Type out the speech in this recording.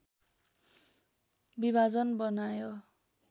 विभाजन बनायो